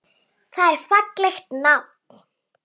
Það er fallegt nafn.